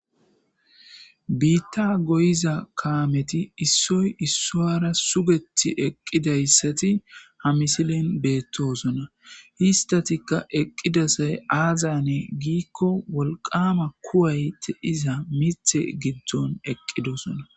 Biitta goyiza kaameti issoy issuwara sugethi eqqidayssati ha misilen beettosona. Histatikka eqqida say aazayane giikko wolqaama kuway de'iza mithe giddon eqqidosona.